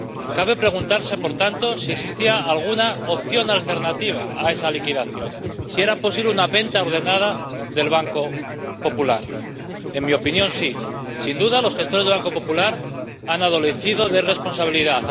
Cabe preguntarse, por tanto, si existía alguna opción alternativa a esa liquidación, si era posible una venta ordenada del Banco Popular. En mi opinión, sí. Sin duda, los gestores del Banco Popular han adolecido de irresponsabilidad.